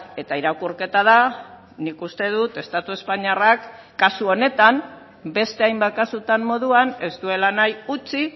eta irakurketa da nik uste dut estatu espainiarrak kasu honetan beste hainbat kasutan moduan ez duela nahi utzi